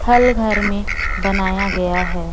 थल घर में बनाया गया है।